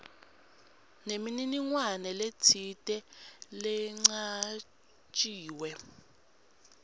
nemininingwane letsite lecanjiwe